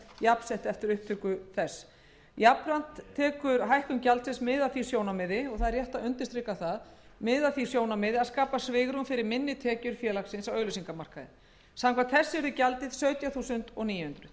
jafnsett eftir upptöku þess jafnframt tekur hækkun gjaldsins mið af því sjónarmiði og það er rétt að undirstrika það að skapa svigrúm fyrir minni tekjur félagsins á auglýsingamarkaði samkvæmt þessu yrði gjaldið sautján þúsund níu hundruð krónur